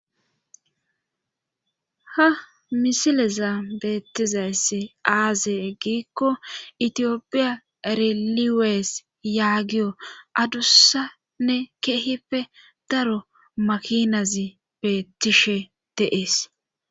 ha misileza beettizayssi aaze eggiikko itiyopiya riliwees yaagiyo adussanne keehipe daro makinazi beettishe deees